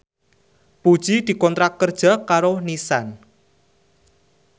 Puji dikontrak kerja karo Nissan